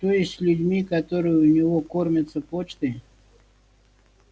то есть с людьми которые у него кормятся почтой